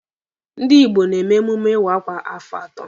Ndị Igbo na-eme emume iwa akwa kwa afọ atọ.